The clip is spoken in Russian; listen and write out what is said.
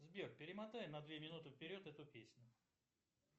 сбер перемотай на две минуты вперед эту песню